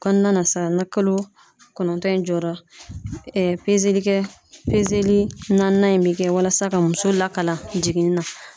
Kɔnɔna na sa na kalo kɔnɔntɔn in jɔra pezelikɛ pezeli naaninan in bɛ kɛ walasa ka muso lakalan jiginni na.